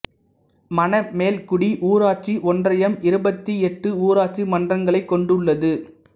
மணமேல்குடி ஊராட்சி ஒன்றியம் இருபத்தி எட்டு ஊராட்சி மன்றங்களைக் கொண்டுள்ளது